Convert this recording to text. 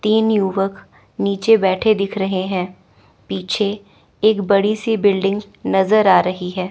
तीन युवक नीचे बैठे दिख रहे हैं पीछे एक बड़ी सी बिल्डिंग नजर आ रही है।